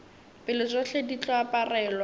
pele tšohle di tlo aparelwa